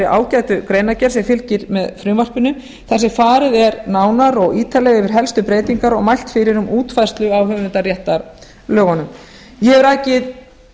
ágætu greinargerð sem fylgir með frumvarpinu þar sem farið er nánar og ítarlega yfir helstu breytingar og mælt fyrir um útfærslu á höfundaréttarlögunum ég hef rakið